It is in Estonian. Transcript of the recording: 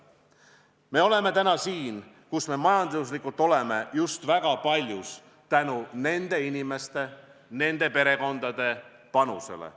Me oleme täna siin, kus me majanduslikult oleme, just väga paljus tänu nende inimeste ja nende perekondade panusele.